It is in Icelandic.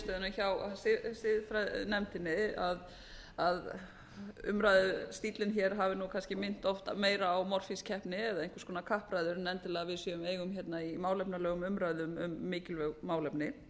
af meginniðurstöðunum hjá nefndinni að umræðustíllinn hafi kannski minnt meira á morfískeppni eða einhvers konar kappræður en endilega að við eigum í málefnalegum umræðum um mikilvæg málefni